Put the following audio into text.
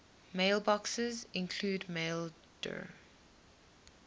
mailboxes include maildir